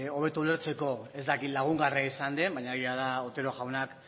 hobetu ulertzeko ez dakit lagungarria izan den baina egia da otero jaunak